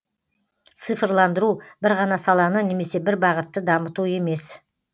цифрландыру бір ғана саланы немесе бір бағытты дамыту емес